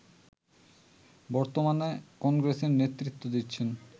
বর্তমানে কংগ্রেসের নেতৃত্ব দিচ্ছেন